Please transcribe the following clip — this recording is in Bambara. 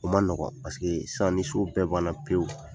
O man nɔgɔ paseke sisan ni so bɛɛ bana pewu